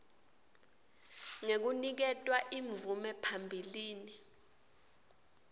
ngekuniketwa imvume phambilini